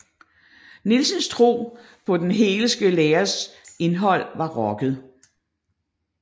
Nielsens tro på den hegelske læres indhold var rokket